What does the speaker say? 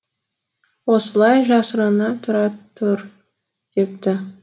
осылай жасырына тұра тұр депті